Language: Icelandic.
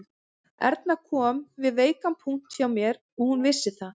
Erna kom við veikan punkt hjá mér og hún vissi það